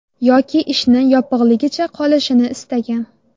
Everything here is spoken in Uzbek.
Yoki ishni yopig‘ligicha qolishini istagan.